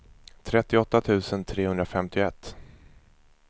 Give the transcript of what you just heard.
trettioåtta tusen trehundrafemtioett